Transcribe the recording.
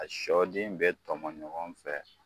A sɔ den bɛɛ tɔmɔ ɲɔgɔn fɛ